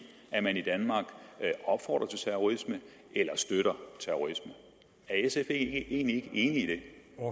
at man i danmark opfordrer til terrorisme eller støtter terrorisme er sf egentlig ikke